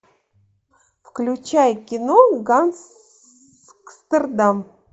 включай кино гангстердам